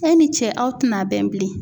E ni cɛ aw tina bɛn bilen